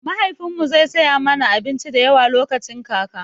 Mahaifin mu zai saya mana abinci da yawa lokacin kaka